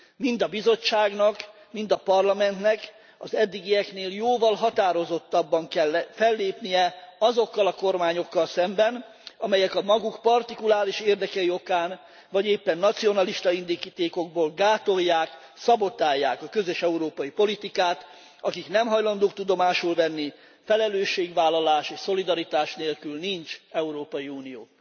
Mind a Bizottságnak, mind a Parlamentnek az eddigieknél jóval határozottabban kell fellépnie azokkal a kormányokkal szemben, amelyek a maguk partikuláris érdekei okán, vagy éppen nacionalista indítékokból gátolják, szabotálják a közös európai politikát, akik nem hajlandók tudomásul venni felelősségvállalás és szolidaritás nélkül nincs Európai Unió.